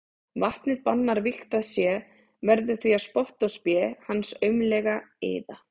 Vatnið bannar vígt að sé, verður því að spotti og spé hans aumleg iðja.